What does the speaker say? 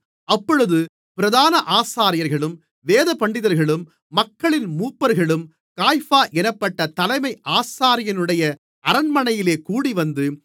அப்பொழுது பிரதான ஆசாரியர்களும் வேதபண்டிதர்களும் மக்களின் மூப்பர்களும் காய்பா என்னப்பட்ட தலைமை ஆசாரியனுடைய அரண்மனையிலே கூடிவந்து